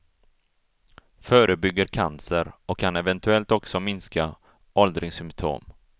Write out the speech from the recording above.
Förebygger cancer och kan eventuellt också minska åldringssymptom.